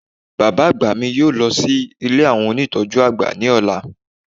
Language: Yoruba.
Bàbá àgbà mi yóò lọ sí ilé àwọn ónìtọ́jú àgbà ni ola